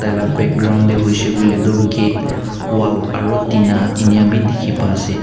taila background dae hoishae koilae toh gate wall aro tina ena ka bi diki pai asae.